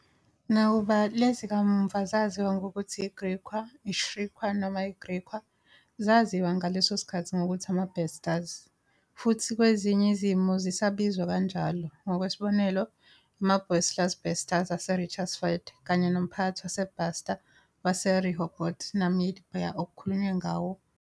Nakuba lezi kamuva zaziwa ngokuthi i-Griqua, i-Xirikua noma i-Griekwa, zaziwa ngaleso sikhathi ngokuthi "Ama-Basters" futhi kwezinye izimo zisabizwa kanjalo, e. g., amaBosluis Basters aseRichtersveld kanye nomphakathi waseBaster waseRehoboth, Namibia, okukhulunywe ngawo ngenhla.